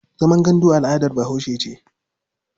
Zaman gandu al'adar Bahaushe ce.